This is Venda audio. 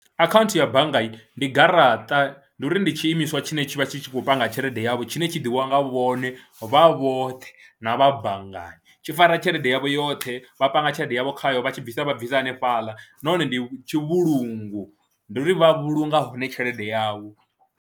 Akhaunthu ya banngani ndi garaṱa ndi uri ndi tshi imiswa tshine tshi vha tshi khou panga tshelede yavho tshine tshi ḓivhiwa nga vhone vha vhoṱhe na vha banngani tshi fara tshelede yavho yoṱhe, vha panga tshelede yavho khayo vha tshi bvisa vha bvisa hanefhaḽa nahone ndi tshivhulungi, ndi uri vha vhulunga hone tshelede yavho.